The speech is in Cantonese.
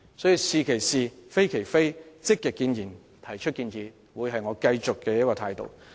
因此，"是其是，非其非"、積極建言和提出建議將會是我繼續保持的態度。